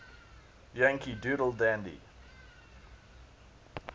yankee doodle dandy